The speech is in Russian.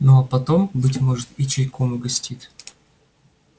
ну а потом может быть и чайком угостит